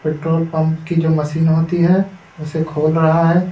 Petrol pump की जो machine होती है उसे खोल रहा है।